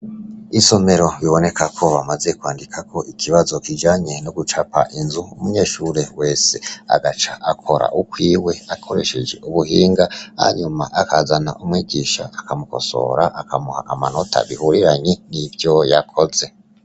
Isomero biboneka ko bamaze kwandika ko ikibazo kijanye no gucapa inzu, umunyeshure wese agaca akora ukwiwe akoresheje ubuhinga, hanyuma akazana umwigisha akamukosora, akamuha amanota bihuriranye n'ivyo yakoze.